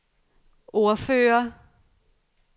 ordfører